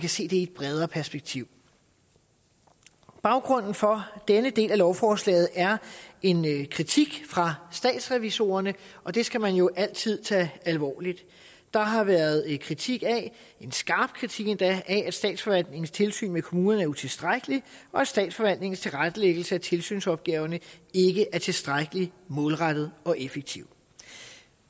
kan ses i et bredere perspektiv baggrunden for denne del af lovforslaget er en kritik fra statsrevisorerne og det skal man jo altid tage alvorligt der har været kritik af en skarp kritik endda at statsforvaltningens tilsyn med kommunerne er utilstrækkelig og at statsforvaltningens tilrettelæggelse af tilsynsopgaverne ikke er tilstrækkelig målrettet og effektiv